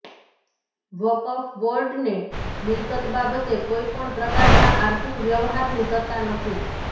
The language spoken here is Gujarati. વકફ બોર્ડને મિલકત બાબતે કોઈ પણ પ્રકારના આર્થિક વ્યવહારની સત્તા નથી